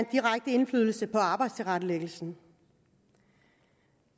direkte indflydelse på arbejdstilrettelæggelsen